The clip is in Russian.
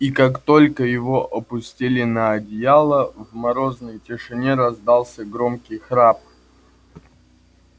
и как только его опустили на одеяло в морозной тишине раздался громкий храп